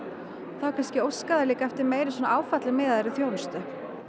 þá kannski óska þær eftir þjónustu